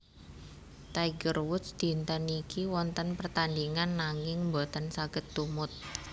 Tiger Woods dinten niki wonten pertandingan nanging mboten saget tumut